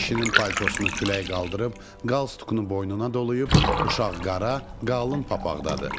Kişinin paltosunu külək qaldırıb, qalsduqunu boynuna doluyub, uşaq qara, qalın papağdadır.